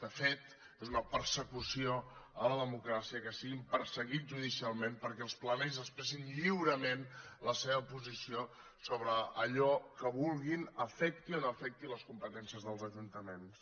de fet és una persecució a la democràcia que siguin perseguits judicialment perquè els plenaris expressin lliurement la seva posició sobre allò que vulguin afecti o no afecti les competències dels ajuntaments